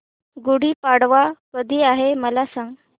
गुढी पाडवा कधी आहे मला सांग